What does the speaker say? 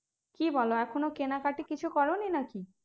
কি বলো এখন কেনা কাটি কিছু করনি নাকি